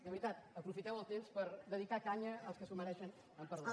de veritat aprofiteu el temps per dedi·car canya als que s’ho mereixen amb perdó